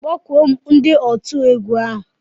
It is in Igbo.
Kpọkụọ mụ ndi otu egwu ahu.